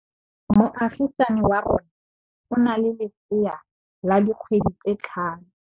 Moagisane wa rona o na le lesea la dikgwedi tse tlhano.